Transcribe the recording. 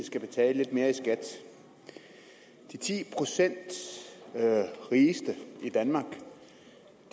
skal betale lidt mere i skat de ti procent rigeste